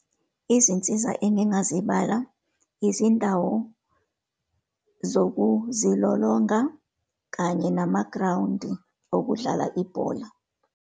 Izinsiza engazibala, izindawo zokuzilolonga, kanye namagrawundi okudlala ibhola.